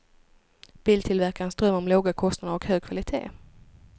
Biltillverkarens dröm om låga kostnader och hög kvalitet.